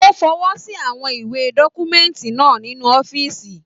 O fọwọsi àwọn iwe dọkumẹ̀ntí náà nínú ọ̀fiísí.